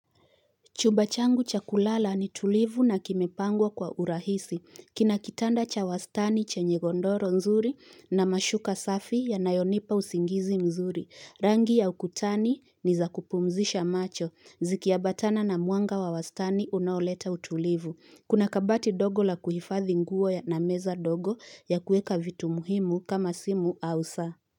Chumba changu cha kulala ni tulivu na kimepangwa kwa urahisi. Kina kitanda cha wastani chenye godoro nzuri na mashuka safi yanayonipa usingizi mzuri. Rangi ya ukutani ni za kupumzisha macho. Ziki ambatana na mwanga wa wastani unaoleta utulivu. Kuna kabati dogo la kuhifadhi nguo ya na meza dogo ya kueka vitu muhimu kama simu au saa.